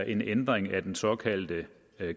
en ændring af den såkaldte